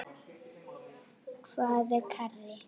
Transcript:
Hvað er karrí?